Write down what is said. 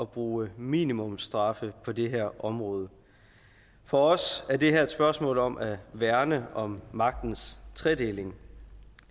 bruge minimumsstraffe på det her område for os er det her et spørgsmål om at værne om magtens tredeling